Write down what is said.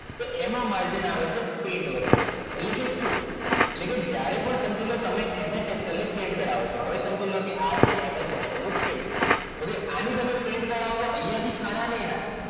તો એમાં margin આવે છે print વખતે તો એમ એટલે કે શું? તો જ્યારે કે તમે ms excel ની print કરાવજો હવે સમજી લો જ્યારે ms excel નું પેજ હવે print કરાવશો ત્યારે અહીંયા થી ખાના નહીં આવે